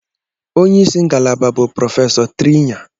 Onye isi ngalaba bụ Prọfesọ Trinya.